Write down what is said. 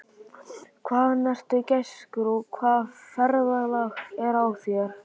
Hvaðan ertu, gæskur, og hvaða ferðalag er á þér?